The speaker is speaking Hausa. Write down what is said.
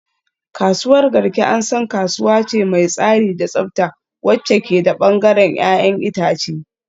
Kasuwar Garki an san kasuwa ce mai tsari da tsafta wacce ke da bangaren 'ya'yan itace